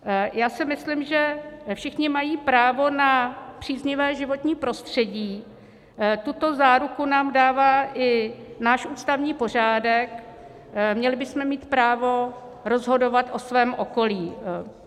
Já si myslím, že všichni mají právo na příznivé životní prostředí, tuto záruku nám dává i náš ústavní pořádek, měli bychom mít právo rozhodovat o svém okolí.